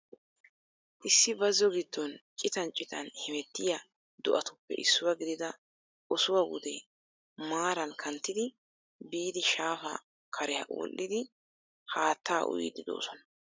Issi bazzo gidon citan citan hemettiya do'attuppe issuwaa gidida osuwaa wudee maaraan kanttidi biidi shaafa kare wodhdhidi haattaa uyiidi doosonna.